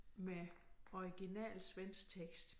Med original svensk tekst